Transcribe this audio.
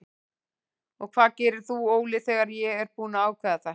Og hvað gerir þú Óli þegar ég er búinn að ákveða þetta?